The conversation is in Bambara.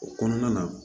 O kɔnɔna na